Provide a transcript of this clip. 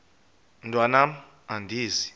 mntwan am andizi